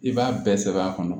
I b'a bɛɛ sɛbɛn a kɔnɔ